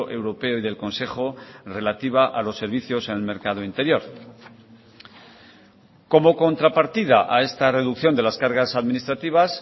europeo y del consejo relativa a los servicios en el mercado interior como contrapartida a esta reducción de las cargas administrativas